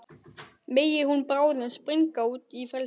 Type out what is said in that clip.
Megi hún bráðum springa út í frelsið.